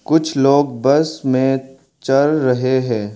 कुछ लोग बस में चढ़ रहे हैं।